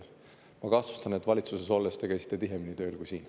Ma kahtlustan, et valitsuses olles te käisite tihemini tööl kui siin.